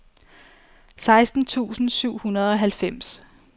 seksten tusind syv hundrede og halvfems